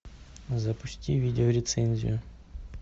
запусти видеорецензию